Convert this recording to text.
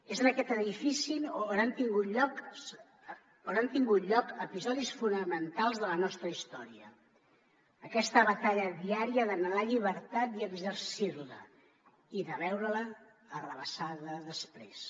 és en aquest edifici on han tingut lloc episodis fonamentals de la nostra història aquesta batalla diària d’anhelar llibertat i exercir la i de veure la arrabassada després